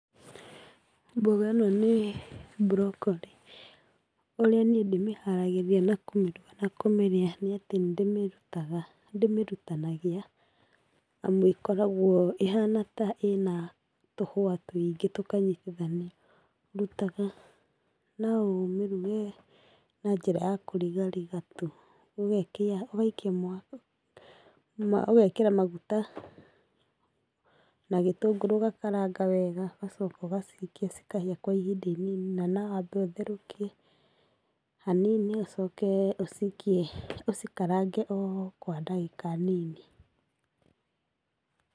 Mboga ĩno nĩ broccoli. ũrĩa niĩ ndĩmĩharagĩria, na kũmĩruga na kũmĩrĩa nĩatĩ nĩatĩ nĩndĩmĩrutanagia, amu ĩkoragwo ĩhana ta ĩna tũhũa tũingĩ tũkanyitithanio ndutaga. noũmĩruge na njĩra ya kũrigariga tu. ũgekĩra maguta na gĩtũngũrũ ũgakaranga wega ũgacooka ũgacikia cikahĩa kwa ihinda inini. Na nawambe ũtherũkie hanini ũcoke ũcikie ũcikarange o kwa ndagĩka nini.